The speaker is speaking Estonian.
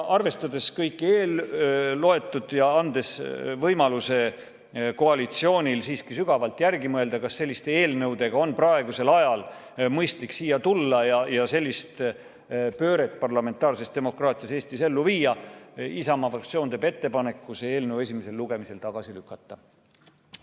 Arvestades kõike eelöeldut ja andes koalitsioonile võimaluse siiski sügavalt järele mõelda, kas selliste eelnõudega on praegusel ajal mõistlik siia tulla ja sellist pööret parlamentaarses demokraatias Eestis ellu viia, teeb Isamaa fraktsioon ettepaneku see eelnõu esimesel lugemisel tagasi lükata.